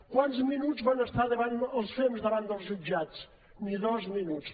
quants minuts van estar els fems davant dels jutjats ni dos minuts